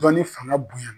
Dɔnni fanga bonya